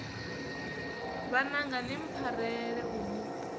vhananga ni mpfarele u ni